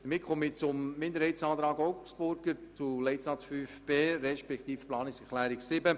Somit komme ich zur Planungserklärung 7 der SAK-Minderheit/Augstburger zu Leitsatz 5b: